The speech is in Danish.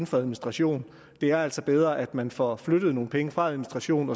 for administrationen det er altså bedre at man får flyttet nogle penge fra administration